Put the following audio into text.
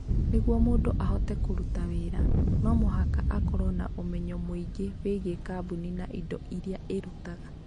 Nĩguo mũndũ ahote kũruta wĩra, no mũhaka akorũo na ũmenyo mũingĩ wĩgiĩ kambuni na indo iria ĩrutaga.